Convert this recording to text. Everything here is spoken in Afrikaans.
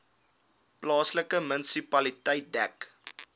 plaaslike munisipaliteit dek